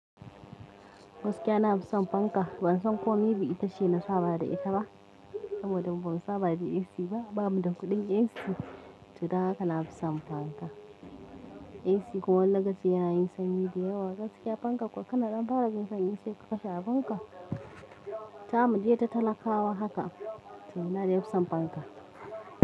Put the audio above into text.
Gaskiya na fi son fanka. Ban san kome ba itace na saba da ita ba saboda ban saba da AC ba. Ba mu da kuɗin AC, ta haka na fi son fanka. AC kuwa daga ci yana yin sanyi da yawa, gaskiya fanka kwakwan nan fara yin sanyi sai ka kashe abunka. Ta mu je ta talakawa haka sai na da yin son fanka.